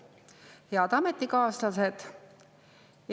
Head ametikaaslased!